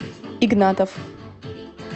игнатов